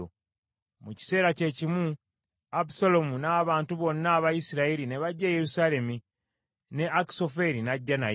Mu kiseera kye kimu, Abusaalomu n’abantu bonna aba Isirayiri ne bajja e Yerusaalemi, ne Akisoferi n’ajja naye.